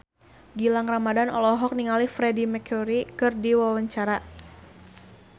Gilang Ramadan olohok ningali Freedie Mercury keur diwawancara